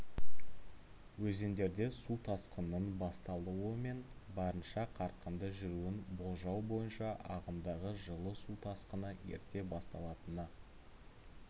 өзендерде су тасқынының басталуы мен барынша қарқынды жүруін болжау бойынша ағымдағы жылы су тасқыны ерте басталатыны